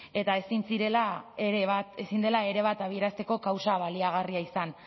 eta ezin dela ere bat abiarazteko kausa baliagarria izan